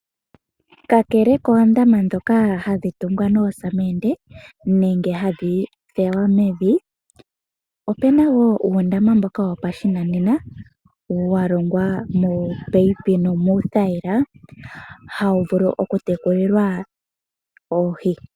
Kakele moondama dhoka hadhitungwa nosamende nenge hadhifulwa mevi, opuna wo uundama mboka wopashinanena walongwa moopayipi nomuthayila hawu vulu oku tekulilwa oohii.